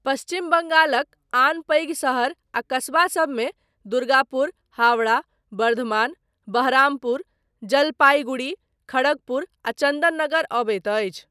पश्चिम बंगालक आन पैघ शहर आ कस्बा सबमे दुर्गापुर, हावड़ा, बर्धमान, बहरामपुर, जलपाईगुड़ी, खड़गपुर आ चन्दननगर अबैत अछि।